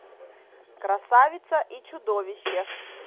красавица и чудовище